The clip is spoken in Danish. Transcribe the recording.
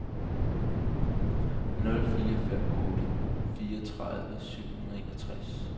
nul fire fem otte fireogtredive syv hundrede og enogtres